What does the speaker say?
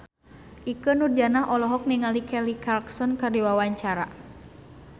Ikke Nurjanah olohok ningali Kelly Clarkson keur diwawancara